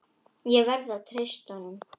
Ég verð að treysta honum.